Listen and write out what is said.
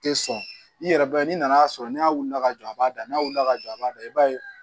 Tɛ sɔn i yɛrɛ bɛ n'i nana sɔrɔ n'a wulila ka jɔ a b'a da n'a wulila ka jɔ a b'a da i b'a ye